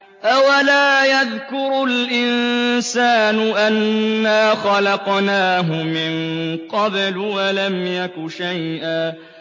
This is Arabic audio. أَوَلَا يَذْكُرُ الْإِنسَانُ أَنَّا خَلَقْنَاهُ مِن قَبْلُ وَلَمْ يَكُ شَيْئًا